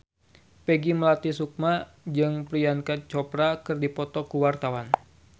Peggy Melati Sukma jeung Priyanka Chopra keur dipoto ku wartawan